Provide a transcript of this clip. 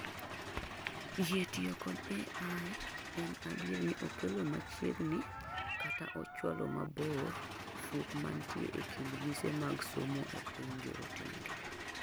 Yie tiyo kod AI en adier ni okelo machiegni kata ochualo mabor fuok mantie ekind mise mag somo epiny jorotenge.